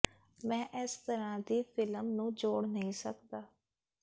ਮੈਂ ਇਸ ਤਰ੍ਹਾਂ ਦੀ ਫ਼ਿਲਮ ਨੂੰ ਜੋੜ ਨਹੀਂ ਸਕਦਾ